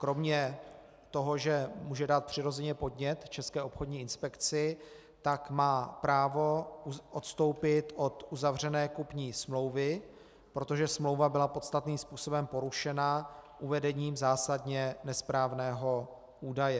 Kromě toho, že může dát přirozeně podnět České obchodní inspekci, tak má právo odstoupit od uzavřené kupní smlouvy, protože smlouva byla podstatným způsobem porušena uvedením zásadně nesprávného údaje.